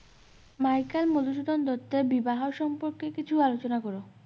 Michael Madhusudan দত্তের বিবাহ সম্পর্কে কিছু আলোচনা কর।